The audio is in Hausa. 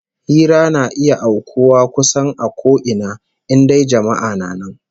Hira na iya aukuwa kusan a ko ina, in dai jama'a na nan